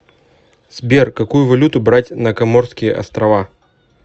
сбер какую валюту брать на коморские острова